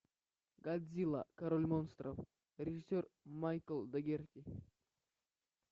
годзилла король монстров режиссер майкл догерти